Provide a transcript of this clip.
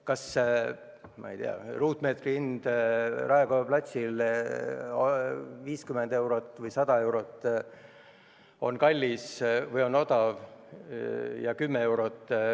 Kas, ma ei tea, ruutmeetri hind Raekoja platsil 50 või 100 eurot on kallis või odav?